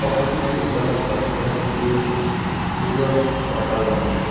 पहाड़ी के ऊपर म पथरा के पूरा पहाड़ बन गे हे।